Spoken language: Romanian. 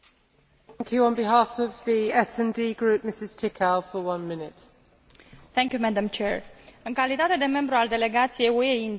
În calitate de membru al Delegației UE India, subliniez că drepturile omului, democrația și securitatea sunt elemente esențiale ale relației dintre UE și India.